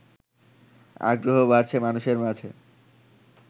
আগ্রহ বাড়ছে মানুষের মাঝে